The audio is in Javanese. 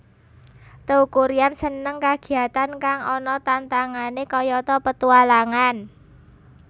Teuku Ryan seneng kagiyatan kang ana tantangane kayata petualangan